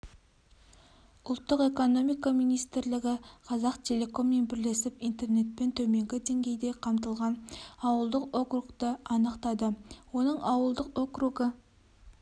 ұлттық экономика министрлігі қазақтелеком мен бірлесіп интернетпен төменгі деңгейде қамтылған ауылдық округті анықтады оның ауылдық округі